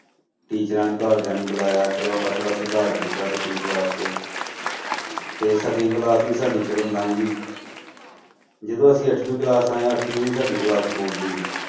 ਟੀਚਰਾਂ ਨੇ ਘਰਦਿਆਂ ਨੂੰ ਬੁਲਾਇਆ ਚਲੋ ਆਪਾਂ ਥੋੜ੍ਹਾ ਸੁਧਾਰ ਕੀਤਾ ਸੱਤਵੀਂ class 'ਚ ਤੇ ਸੱਤਵੀਂ class ਵੀ ਜਦੋਂ ਸਾਡੀ ਚਲੋ ਲੰਘ ਗਈ ਜਦੋਂ ਅਸੀਂ ਅੱਠਵੀਂ class ਆਏਂ, ਅੱਠਵੀਂ ਵੀ ਸਾਡੀ class board ਦੀ ਸੀ।